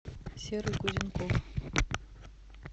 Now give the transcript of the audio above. серый кузенков